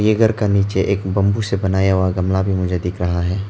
यह घर का नीचे एक बंबू से बनाया हुआ गमला भी मुझे दिख रहा है।